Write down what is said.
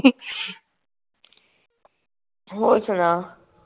ਹੋਰ ਸੁਣਾ